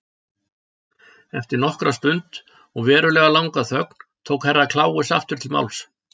Eftir nokkra stund og verulega langa þögn tók Herra Kláus aftur til máls.